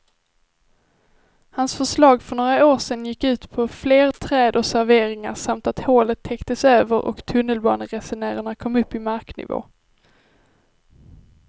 Hans förslag för några år sedan gick ut på fler träd och serveringar samt att hålet täcktes över och tunnelbaneresenärerna kom upp i marknivå.